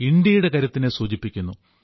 ഇന്ത്യയുടെ കരുത്തിനെ സൂചിപ്പിക്കുന്നു